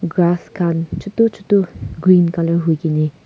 grass khan chutu chutu green colour hui kene--